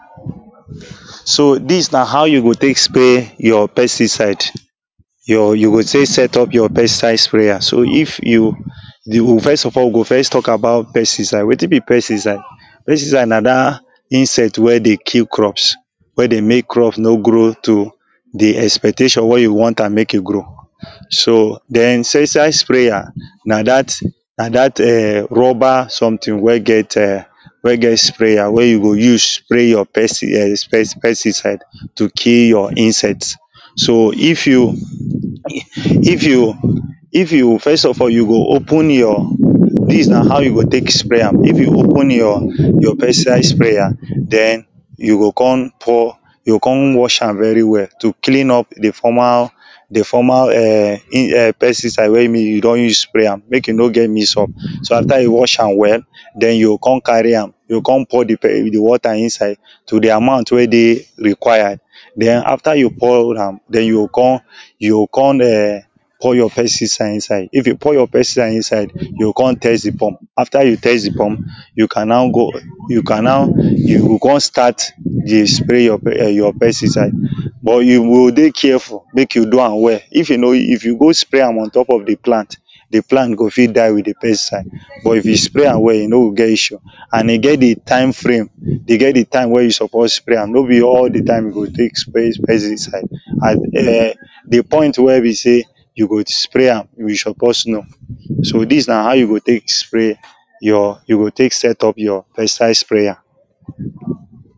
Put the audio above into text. so this na how you go take spray your pesticide your you go take set up your pesticide sprayer so if you you go first of all we go first talk about pesticide wetin be pesticide pesticide na that insect wey dey kill crops wey dey make crops no grow to the expectation wey you want am make e grow so then insecticide sprayer na na that na that e?n rubber something wey get e?n wey get sprayer wey you go use spray your pest e?n pesticide to kill your insects so if you e if you if you first of all you go open your this na how you go take spray am if you open your your pesticide sprayer then you go ko?n pour you go ko?n wash am very well to clean up the former the former e?n in e?n pesticide wey be you do?n use spray am make e no get mix up so after you wash am well then you go ko?n carry am you go ko?n pour the pe the water inside to the amount wey dey required then after you pour am then you go ko?n you go ko?n e?n pour your pesticide inside if you pour your pesticide inside you go ko?n test the pump after you test the pump you can now go you can now you go ko?n start dey spray your pe e?n pesticide but you go dey careful make you do am well if you no if you go spray am on top of the plant the plant go fit die with the pesticide but if you spray am well you no go get issue and e get the time frame they get the time wey you suppose spray am no be all the time you go take spray pesticide and e?n the point wey be say you go spray am you suppose know so this na how you go take spray your you go take set up your pesticide sprayer